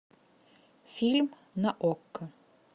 фильм на окко